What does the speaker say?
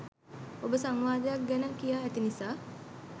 ඔබ සංවාදයක් ගැන කියා ඇති නිසා